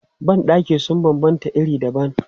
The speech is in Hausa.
Ban ɗaki sun banbanta iri dabam.